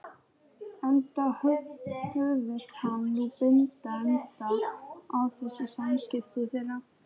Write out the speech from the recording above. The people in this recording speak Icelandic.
Enda hugðist hann nú binda enda á þessi samskipti þeirra.